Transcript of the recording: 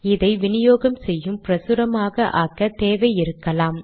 இதை வினியோகம் செய்யும் பிரசுரமாக ஆக்க தேவை இருக்கலாம்